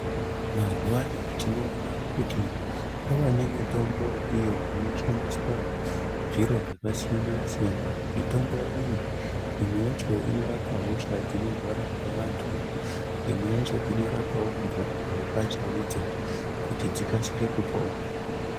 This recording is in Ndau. Mazuvaano tinoona kuti kwava nemitombo iyo inoshandiswa zviro zvakasiyana siyana mitombo iyi imwe yacho inorapa hosha dzinorwara ngevantu imwe yacho inorapa mhuka chaidzo kuti dzikasire kupona .